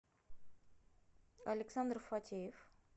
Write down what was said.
александр фатеев